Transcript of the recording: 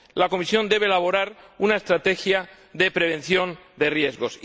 La Comisión debe elaborar una estrategia de prevención de riesgos